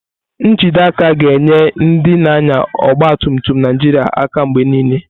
Njide aka ga na-enye ndị na-anya ọgba tum tum Naijiria aka mgbe niile.